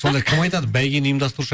сонда кім айтады бәйгені ұйымдастырушы